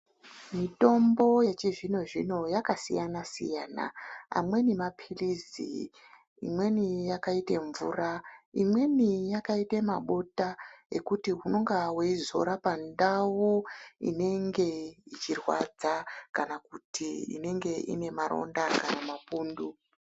Mitombo yechizvino zvino yakasiyana siyana amweni mapilisi imweni yakaite mvura imweni yakaita mabota ekuti unonga wezora pandau inenge yechirwadza kana kuti inenge ine maronda kana mapundu.